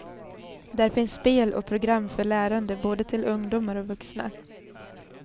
Där finns spel och program för lärande, både till ungdomar och vuxna.